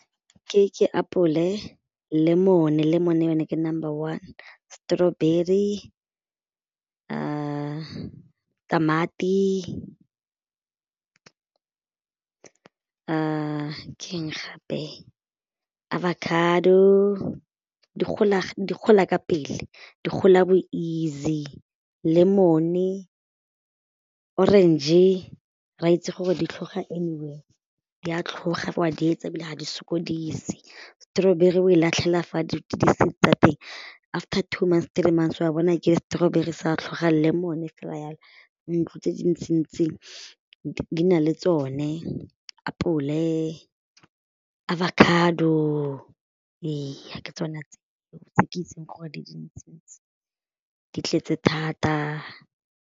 Ke apole lemon, lemon ke number one strawberry tamati ke gape? Avocado di gola ka pele di gola bo-easy lemon, orange re a itse gore di tlhoga anywhere di a tlhoga wa di etsa ebile ga di sokodise strawberry o e latlhela fa di seed tsa teng after two months three months wa bona ke strawberry sa tlhoga lemon fela jalo ntlo tse dintsi-ntsi di na le tsone apole, avocado ee ke tsone tse ke itseng gore di dintsi-ntsi di tletse thata.